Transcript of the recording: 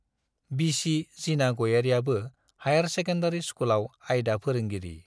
बिसि जिना गयारीयाबो हाइयार सेकेन्डारी स्कुलाव आयदा फोरोंगिरि।